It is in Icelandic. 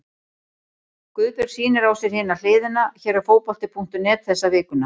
Guðbjörg sýnir á sér Hina hliðina hér á Fótbolti.net þessa vikuna.